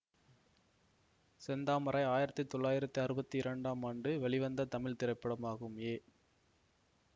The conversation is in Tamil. செந்தாமரை ஆயிரத்தி தொளாயிரத்தி அறுபத்தி இரண்டு ஆம் ஆண்டு வெளிவந்த தமிழ் திரைப்படமாகும் ஏ